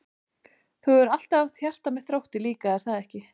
Þú hefur alltaf haft hjarta með Þrótti líka er það ekki?